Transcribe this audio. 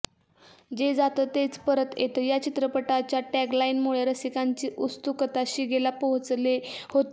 जे जातं तेच परत येतं या चित्रपटाच्या टॅगलाइनमुळे रसिकांची उत्सुकता शिगेला पोहोचली होती